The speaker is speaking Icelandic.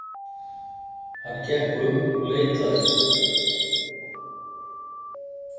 Hann gekk um og leitaði.